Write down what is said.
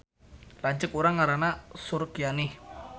Lanceuk urang ngaranna Surkianih